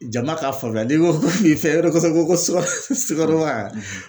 Jama ka faamuya ni n ko ni fɛn dɔ ko sugaro man